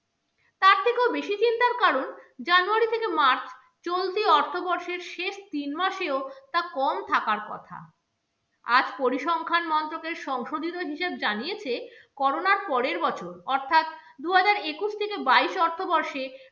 থেকে march চলতি অর্থবর্ষের শেষ তিন মাসে ও তা কম থাকার কথা। আর পরিসংখ্যান মন্ত্রকের সংশোধিত হিসেব জানিয়েছে, করোনার পরের বছর অর্থাৎ দুহাজার একুশ থেকে বাইশ অর্থবর্ষে